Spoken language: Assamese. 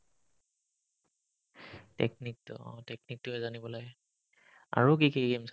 technique টো অ technique টোয়ে জানিব লাগে আৰু কি কি games আছিল ?